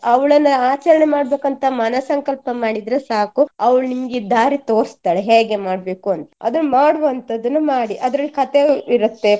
ಅವಳನ್ನ ಆಚರಣೆ ಮಾಡ್ಬೇಕಂತ ಮನ ಸಂಕಲ್ಪ ಮಾಡಿದ್ರೆ ಸಾಕು ಅವಳು ನಿಮ್ಗೆ ದಾರಿ ತೊರ್ಸ್ತಾಳೆ ಹೇಗೆ ಮಾಡ್ಬೇಕು ಅಂತ ಅದು ಮಾಡುವಂತದ್ದನ್ನು ಮಾಡಿ ಅದ್ರಲ್ಲಿ ಕಥೆ ಇರುತ್ತೆ.